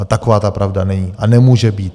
Ale taková ta pravda není a nemůže být.